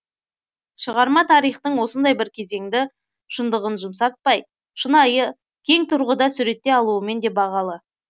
шығарма тарихтың осындай бір кезеңді шындығын жұмсартпай шынайы кең тұрғыда суреттей алуымен де бағалы